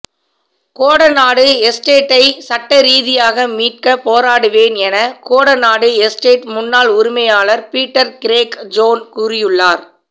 கோடநாடு எஸ்டேட்டை சட்டரீதியாக மீட்க போராடுவேன் என கோடநாடு எஸ்டேட் முன்னாள் உரிமையாளர் பீட்டர் கிரேக் ஜோன் கூறியுள்ளார்